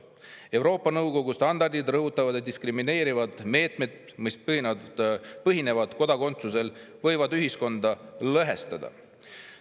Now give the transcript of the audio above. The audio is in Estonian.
Euroopa Nõukogu standardid rõhutavad, et diskrimineerivad meetmed, mis põhinevad kodakondsusel, võivad ühiskonda lõhestada.